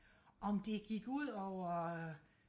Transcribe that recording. om det gik ud over